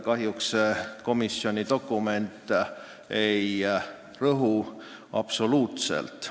Kahjuks ei rõhu komisjoni dokument sellele absoluutselt.